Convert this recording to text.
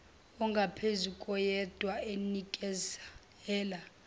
ongaphezu koyedwa enikezela